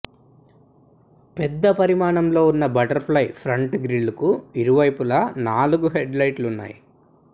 పెద్ద పరిమాణంలో ఉన్న బటర్ ఫ్లై ప్రంట్ గ్రిల్కు ఇరువైపులా నాలుగు హెడ్ లైట్లు ఉన్నాయి